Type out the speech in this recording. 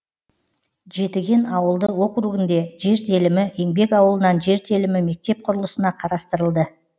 жетіген ауылды округінде жер телімі еңбек ауылынан жер телімі мектеп құрылысына қарастырылды